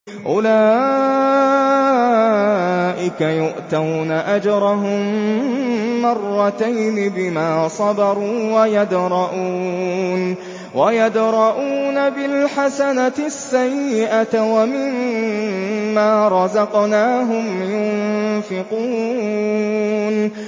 أُولَٰئِكَ يُؤْتَوْنَ أَجْرَهُم مَّرَّتَيْنِ بِمَا صَبَرُوا وَيَدْرَءُونَ بِالْحَسَنَةِ السَّيِّئَةَ وَمِمَّا رَزَقْنَاهُمْ يُنفِقُونَ